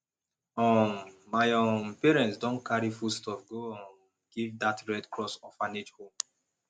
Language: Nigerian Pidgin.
um my um parents don carry foodstuff go um give dat red cross orphanage home